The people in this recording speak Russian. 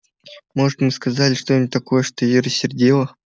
может мы сказали что-нибудь такое что её рассердило